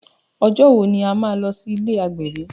Ọjọ́ wo ni a má lọ sí ilé agbẹ̀bí?